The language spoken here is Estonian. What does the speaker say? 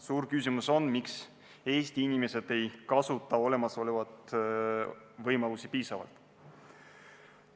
Suur küsimus on, miks Eesti inimesed ei kasuta olemasolevaid võimalusi piisavalt.